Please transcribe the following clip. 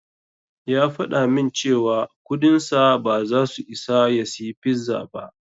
Ya faɗa min cewa kudinsa ba zasu isa ya siyi pizza ba.